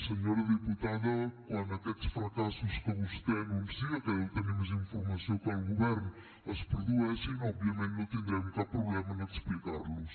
senyora diputada quan aquests fracassos que vostè anuncia que deu tenir més informació que el govern es produeixin òbviament no tindrem cap problema en explicar los